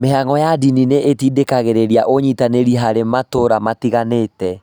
Mĩhang’o ya ndini nĩ itindĩkagĩrĩria ũnyitanĩri harĩ matũũra matiganĩte.